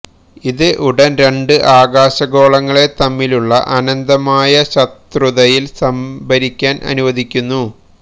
ഇത് ഉടൻ രണ്ട് ആകാശഗോളങ്ങളെ തമ്മിലുള്ള അനന്തമായ ശത്രുതയിൽ സംഭരിക്കാൻ അനുവദിക്കുന്നു